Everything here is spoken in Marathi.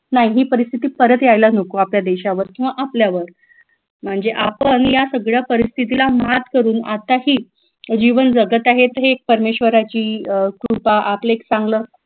नाही ही परिस्थिती परत यायला नको आपल्या देशावर किंवा मग आपल्यावर म्हणजे आपण या सगळ्या परिस्थितीला मात करून आत्ताही जीवन जगत आहे हे परमेश्वराची अं कृपा आपलं एक चांगलं